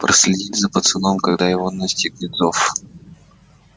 проследить за пацаном когда его настигнет зов